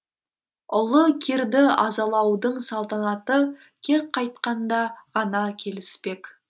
ұлы кирді азалаудың салтанаты кек қайтқанда ғана келіспек